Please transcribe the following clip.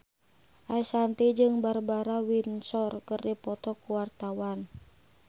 Ashanti jeung Barbara Windsor keur dipoto ku wartawan